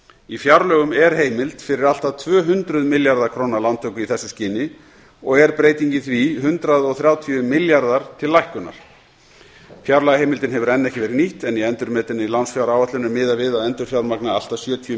í fjárlögum er heimild fyrir allt að tvö hundruð milljarða króna lántöku í þessu skyni og er breytingin því hundrað og þrjátíu milljarðar til lækkunar fjárlagaheimildin hefur enn ekki verið nýtt en í endurmetinni lánsfjáráætlun er miðað við að endurfjármagna allt að sjötíu